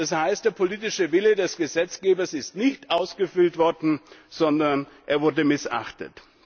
Das heißt, der politische Wille des Gesetzgebers ist nicht ausgeführt worden, sondern er wurde missachtet.